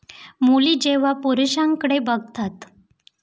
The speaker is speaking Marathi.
मुली जेव्हा पुरूषांकडे बघतात.